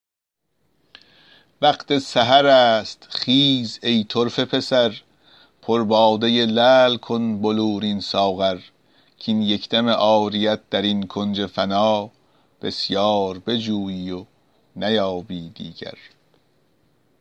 وقت سحر است خیز ای طرفه پسر پر باده لعل کن بلورین ساغر کاین یک دم عاریت در این کنج فنا بسیار بجویی و نیابی دیگر